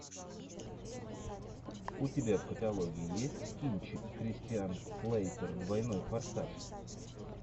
у тебя в каталоге есть кинчик кристиан слейтер двойной форсаж